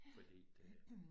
Fordi det